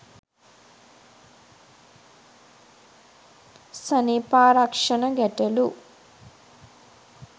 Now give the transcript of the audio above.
සනීපාරක්ෂන ගැටළු